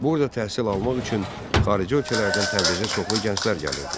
Burada təhsil almaq üçün xarici ölkələrdən Təbrizə çoxlu gənclər gəlirdi.